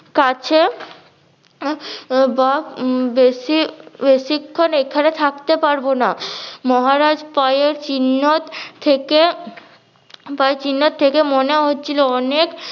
কাছে উম বা বেশি বেশিক্ষন এখানে থাকতে পারবো না মহারাজ পায়ের চিহ্নত থেকে পায়ের চিহ্নত থেকে মনে হচ্ছিলো অনেক